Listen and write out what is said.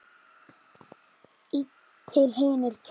einn til hinir kjósa sér.